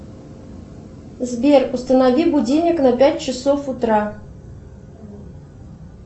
сбер установи будильник на пять часов утра